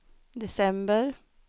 december